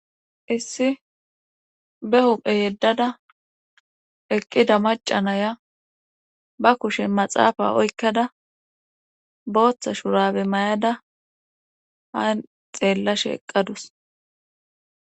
Issi be huphe yeddada eqqida macanaya ba kushe maxaafa oykkada booththa shurabe mayada haan xeella sheeqadus.